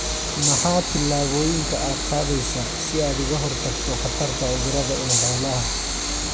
Maxaa tillaabooyinka aad qaadaysaa si aad uga hortagto khatarta cudurada ee xoolaha?